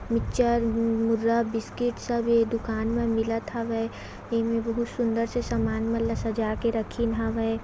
Mixture मुर्रा biscuit सब ये दुकान म मिलत हावे ए में बिल्कुल सुंदर से सामान मन ल सजा के रखिन हावे।